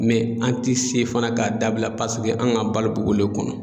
an ti se fana k'a dabila paseke an ka balo b'ɔlu de kɔnɔ.